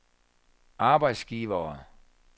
arbejdsgivere